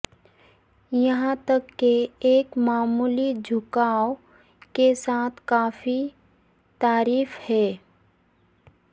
یہاں تک کہ ایک معمولی جھکاو کے ساتھ کافی تحریف ہے